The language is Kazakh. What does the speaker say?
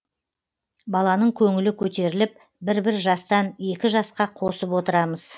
баланың көңілі көтеріліп бір бір жастан екі жасқа қосып отырамыз